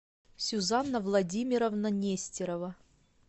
сюзанна владимировна нестерова